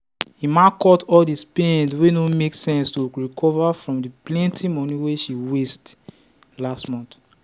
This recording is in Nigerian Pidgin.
emma cut all the spend wey no make sense to recover from the plenty money she waste last month.